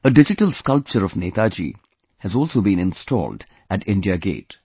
A digital sculpture of Netaji has also been installed at India Gate